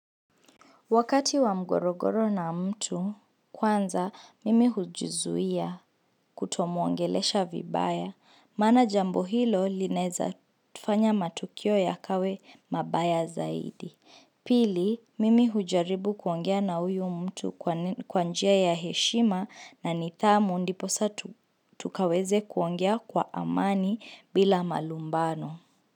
Wakati wa mgorogoro na mtu, kwanza, mimi hujizuia kutomuongelesha vibaya. Maana jambo hilo lineza fanya matukio ya kawe mabaya zaidi. Pili, mimi hujaribu kuongea na huyo mtu kwanjia ya heshima na nithamu ndiposa tukaweze kuongea kwa amani bila malumbano.